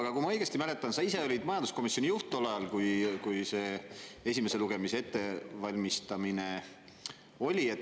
Aga kui ma õigesti mäletan, sa ise olid majanduskomisjoni juht tol ajal, kui see esimese lugemise ettevalmistamine oli.